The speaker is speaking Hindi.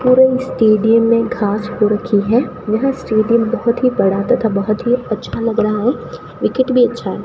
पूरे स्टेडियम में घास हो रखी है यह स्टेडियम बहुत ही बड़ा तथा बहुत ही अच्छा लग रहा है विकेट भी अच्छा है।